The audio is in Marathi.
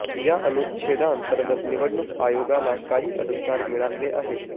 या अनुच्छेदा अंतर्गत निवडणूक आयोगाला काही अधिकार मिळालेले आहेत